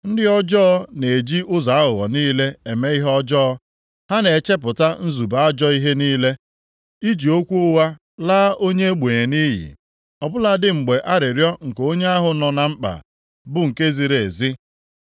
Ndị ọjọọ na-eji ụzọ aghụghọ niile eme ihe ọjọọ, ha na-echepụta nzube ajọ ihe niile, iji okwu ụgha laa onye ogbenye nʼiyi, ọ bụladị mgbe arịrịọ nke onye ahụ nọ na mkpa bụ nke ziri ezi.